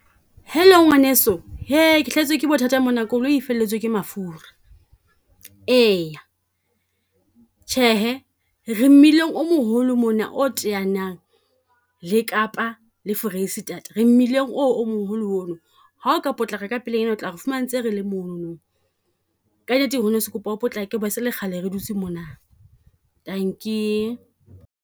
Hello ngwaneso, hee ke hlahetswe ke bothata mona koloi e felletswe ke mafura. E ya, tjhehe re mmileng o moholo mona o teanyang le Kapa le Foreisetata, re mmileng oo o moholo ono. Ha o ka potlako ka pelenyana o tla re fumana ntse rele monono. Ka nnete ngwaneso ke kopa o potlake ho ba se e kgale re dutse mona, dankie.